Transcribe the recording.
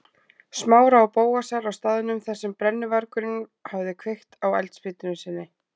Smára og Bóasar á staðnum þar sem brennuvargurinn hafði kveikt á eldspýtunni sinni.